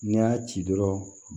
N'i y'a ci dɔrɔn